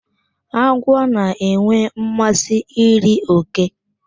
Agwọ na-enwe mmasị iri òké.